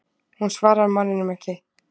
Hún svarar manninum ekki.